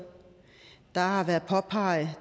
der har været påpeget